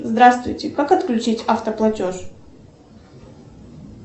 здравствуйте как отключить автоплатеж